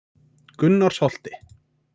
Gunnarsholti